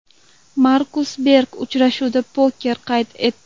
Markus Berg uchrashuvda poker qayd etdi.